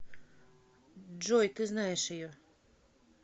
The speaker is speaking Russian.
джой ты знаешь ее